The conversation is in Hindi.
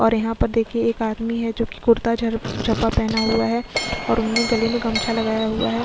और यहाँ पर देखिये एक आदमी है जो कि कुरता झ झपा पहना हुआ है और उन्होंने गले में गमछा लगाया हुआ है।